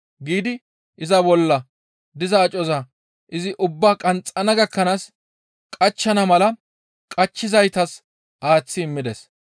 giidi iza bolla diza acoza izi ubbaa qanxxana gakkanaas qachchana mala qachchizaytas aaththi immides.